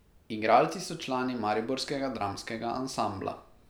Igralci so člani mariborskega dramskega ansambla.